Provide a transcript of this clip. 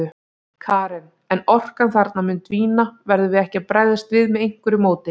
Karen: En orkan þarna mun dvína, verðum við ekki að bregðast við með einhverju móti?